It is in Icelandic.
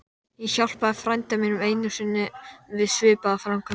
Ég hjálpaði frænda mínum einu sinni við svipaða framkvæmd.